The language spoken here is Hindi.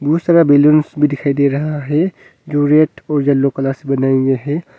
बहुत सारा बलूंस भी दिखाई दे रहा है जो रेड और येलो कलर से बनाया गया है।